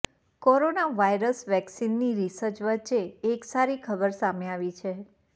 corona virus વેક્સીનની research વચ્ચે એક સારી ખબર સામે આવી છે